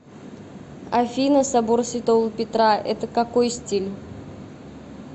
афина собор святого петра это какой стиль